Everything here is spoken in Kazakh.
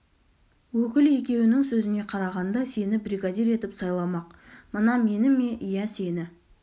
өкіл екеуінің сөзіне қарағанда сені бригадир етіп сайламақ мына мені ме иә сені